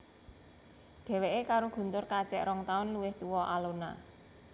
Dheweké karo Guntur kacek rong taun luwih tua Alona